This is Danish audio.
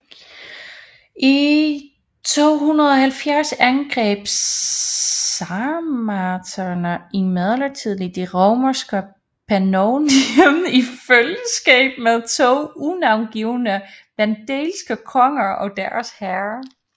I 270 angreb sarmaterne imidlertid det romerske Pannonien i følgeskab med to unavngivne vandalske konger og deres hær